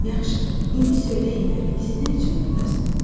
Yaxşı, indi söyləyin görək, siz nə üçün burdasınız?